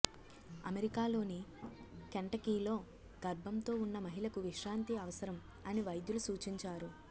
అమెరికాలోని కెంటకీలో గర్భంతో ఉన్న మహిళకు విశ్రాంతి అవసరం అని వైద్యులు సూచించారు